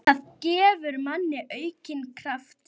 Það gefur manni aukinn kraft.